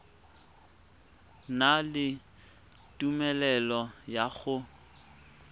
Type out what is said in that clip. na le tumelelo ya go